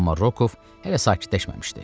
Amma Rokov hələ sakitləşməmişdi.